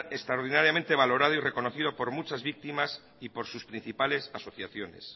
extraordinariamente valorado y reconocido por muchas víctimas y por sus principales asociaciones